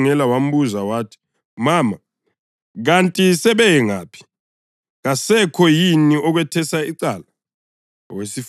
UJesu wamkhangela wambuza wathi, “Mama, kanti sebeye ngaphi? Kasekho yini okwethesa icala?”